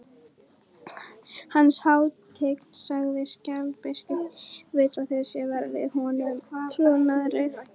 Hans hátign, sagði Sjálandsbiskup,-vill að þér sverjið honum trúnaðareið.